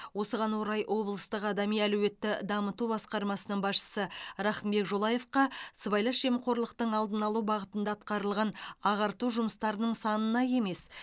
осыған орай облыстық адами әлеуетті дамыту басқармасының басшысы рахымбек жолаевқа сыбайлас жемқорлықтың алдын алу бағытында атқарылған ағарту жұмыстарының санына емес